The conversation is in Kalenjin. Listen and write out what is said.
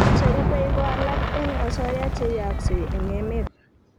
che rubei ko alak eng asoya che yaaksei eng emet